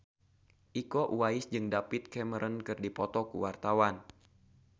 Iko Uwais jeung David Cameron keur dipoto ku wartawan